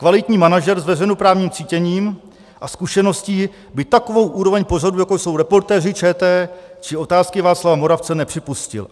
Kvalitní manažer s veřejnoprávním cítěním a zkušeností by takovou úroveň pořadů, jako jsou Reportéři ČT či Otázky Václava Moravce, nepřipustil.